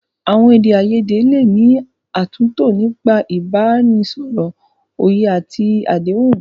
Àwọn èdè àìyedè lè ní àtúntò nípa ìbánisọ̀rọ̀, òye àti àdéhùn.